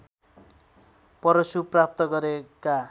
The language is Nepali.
परशु प्राप्त गरेका